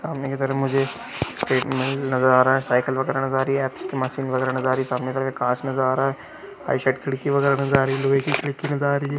सामने की तरफ़ मुझे एक नज़र आ रहा है साइकिल वगेरा नज़र आ रही है मशीन वगेरा नज़र आ रही सामने काँच नज़र आ रहा है बायीं साइड खिड़की वगेरा नज़र आ रही। लोहे की खिड़की नज़र आ रही है।